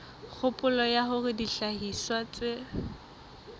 kgopolo ya hore dihlahiswa tse